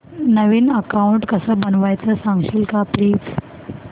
नवीन account कसं बनवायचं सांगशील का प्लीज